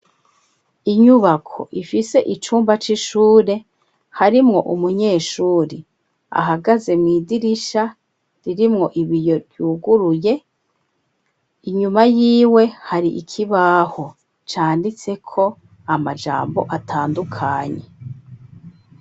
Inyubako, ifise icumba c'ishure; harimwo umunyeshure, ahagaze mw'idirisha, ririmwo ibiyo, ryuguruye; inyuma yiwe, hari ikibaho, canditseko amajambo atandukanye.